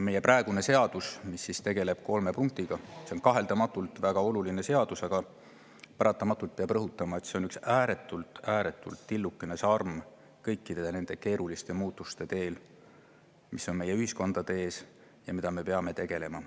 Meie praegune seadus, mis tegeleb kolme punktiga, on kaheldamatult väga oluline seadus, aga paratamatult peab rõhutama, et see on üks ääretult-ääretult tillukene kõikide nende keeruliste muutuste teel, mis meie ühiskonda ees ja millega me peame tegelema.